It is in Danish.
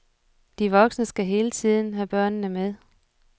De voksne skal hele tiden have børnene med.